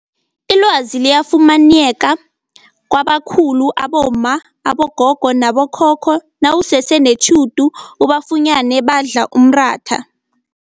Ilwazi liyafunyaneka kwabakhulu abomma, abogogo nabo khokho nawusese netjhudu ubafunyene badla umratha.